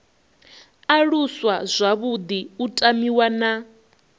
aluswa zwavhuḓi u tamiwa na